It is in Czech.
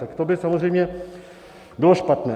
Tak to by samozřejmě bylo špatné.